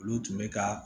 Olu tun bɛ ka